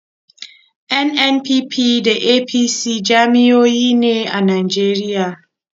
NNPP da APC jam'iyyoyi ne a Najeriya.